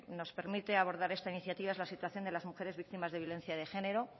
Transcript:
nos permite abordar esta iniciativa es la situación de las mujeres víctimas de la violencia de género